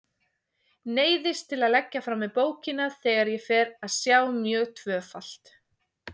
Neyðist til að leggja frá mér bókina þegar ég fer að sjá mjög tvöfalt.